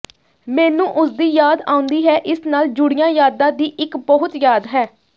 ਮੈਨੂੰ ਉਸਦੀ ਯਾਦ ਆਉਂਦੀ ਹੈ ਇਸ ਨਾਲ ਜੁੜੀਆਂ ਯਾਦਾਂ ਦੀ ਇੱਕ ਬਹੁਤ ਯਾਦ ਹੈ